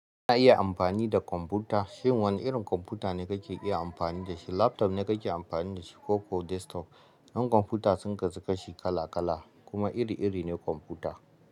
Kuna iya amfani da kwamfuta. Shin wane irin kwamfuta ne kake iya amfani da shi? Laptop ne kake amfani da shi ko ko desktop? Dan kwamfuta sun kasu kashi kala kala kuma iri iri ne kwamfuta.